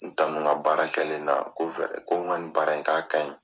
N tanu n ka baara kɛlen na ko ko n ka nin baara in k'a ka ɲi.